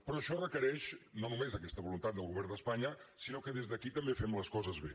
però això requereix no només aquesta voluntat del govern d’espanya sinó que des d’aquí també fem les coses bé